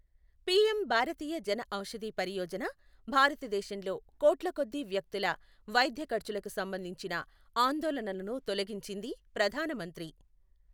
PM Bharatiya Jan Aushadhi Pariyojana భారతదేశంలో కోట్ల కొద్దీ వ్యక్తుల వైద్యఖర్చులకు సంబంధించిన ఆందోళనలను తొలగించింది ప్రధాన మంత్రి